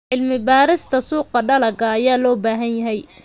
Cilmi-baarista suuqa dalagga ayaa loo baahan yahay.